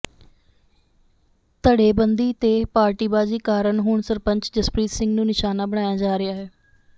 ਧੜੇਬੰਦੀ ਤੇ ਪਾਰਟੀਬਾਜ਼ੀ ਕਾਰਨ ਹੁਣ ਸਰਪੰਚ ਜਸਪ੍ਰੀਤ ਸਿੰਘ ਨੂੰ ਨਿਸ਼ਾਨਾ ਬਣਾਇਆ ਜਾ ਰਿਹਾ ਹੈ